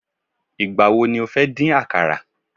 igbawo ni o fe din àkàrà